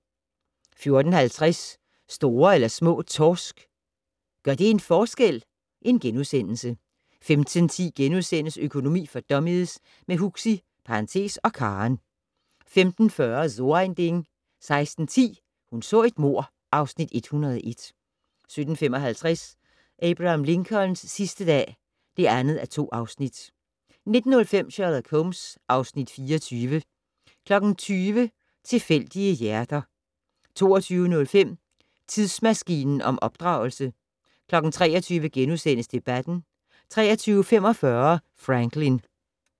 14:50: Store eller små torsk - gør det en forskel? * 15:10: Økonomi for dummies - med Huxi (og Karen) * 15:40: So ein Ding 16:10: Hun så et mord (Afs. 101) 17:55: Abraham Lincolns sidste dag (2:2) 19:05: Sherlock Holmes (Afs. 24) 20:00: Tilfældige hjerter 22:05: Tidsmaskinen om opdragelse 23:00: Debatten * 23:45: Franklyn